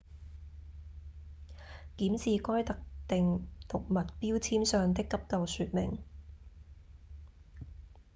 檢視該特定毒物標籤上的急救說明